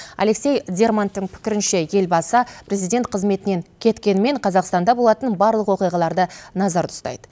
алексей дерманттың пікірінше елбасы президент қызметінен кеткенімен қазақстанда болатын барлық оқиғаларды назарда ұстайды